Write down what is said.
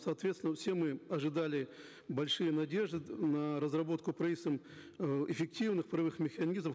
соответственно все мы ожидали большие надежды на разработку правительством э эффективных правовых механизмов